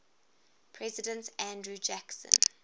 president andrew jackson